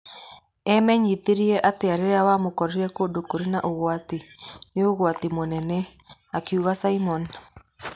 Amenyithirie atĩ rĩrĩa wamũkora kũndũ kũrĩ na ũgwati, nĩ ũgwati mũnene,' akiuga Simon.